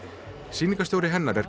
sýningarstjóri hennar er